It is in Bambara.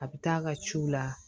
A bɛ taa a ka ciw la